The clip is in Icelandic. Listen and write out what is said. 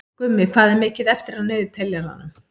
Gummi, hvað er mikið eftir af niðurteljaranum?